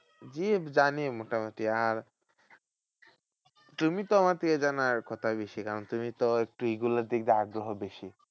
জি জানি মোটামুটি। আর তুমি তো আমার থেকে জানার কথা বেশি? কারণ তুমি তো একটু এইগুলোর দিক দিয়ে আগ্রহ বেশি।